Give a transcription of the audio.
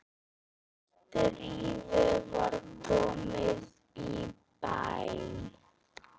Stríðið var komið í bæinn!